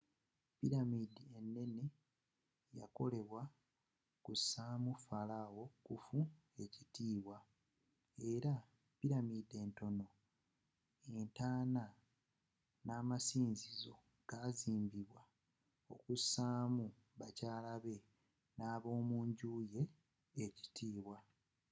pilamidi enene yakolebwa kusa mu falawo khufu ekitibwa era pilamidi entonotono entaana n'amasinzizo gazimbibwa kusamu bakyala be n'abomunjju ye ekitibwa